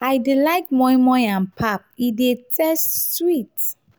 i dey like moi moi and pap e dey taste sweet.